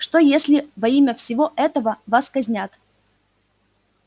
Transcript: что если во имя всего этого вас казнят